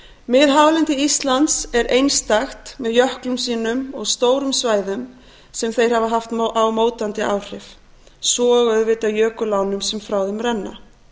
miðhálendi íslands er einstakt með jöklum sínum og stórum svæðum sem þeir hafa haft á mótandi áhrif svo og auðvitað jökulánum sem frá þeim renna